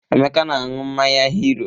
Emeka na-aṅụ mmanya Hiro.